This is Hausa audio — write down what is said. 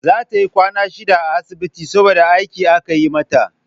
Sai tayi kwana shida a asibiti saboda aiki aka yi mata